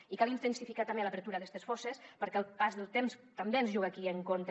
i cal intensificar també l’apertura d’estes fosses perquè el pas del temps també ens juga aquí en contra